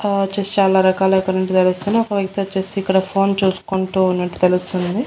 ఆ వచ్చేసి చాలా రకాల ఒక వ్యక్తి వచ్చేసి ఇక్కడ ఫోన్ చూసుకుంటూ ఉన్నట్టు తెలుస్తుంది.